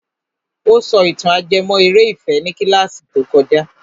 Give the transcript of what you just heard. Ó sọ ìtàn ajẹmọ́ eré ìfẹ́ ní kílàsì tó kojá.